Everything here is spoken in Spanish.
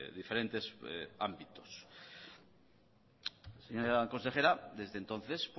diferentes ámbitos señora consejera desde entonces